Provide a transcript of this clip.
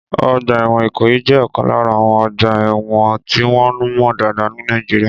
Ọgbà ẹ̀wọ̀n Ikoyi jẹ́ ọ̀kan lára àwọn ọgbà ẹ̀wọ̀n tí wọ́n mọ̀ dáadáa ní Nàìjíríà.